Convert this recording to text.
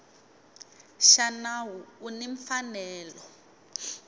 xa nawu u ni mfanelo